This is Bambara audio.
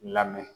Lamɛn